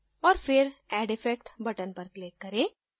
और फिर add effect button पर click करें